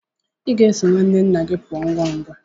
Ị ga-eso nwanne nna gị pụọ ngwa ngwa.